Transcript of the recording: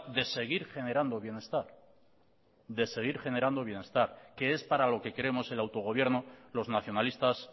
de seguir generando bienestar de seguir generando bienestar que es para lo que queremos el autogobierno los nacionalistas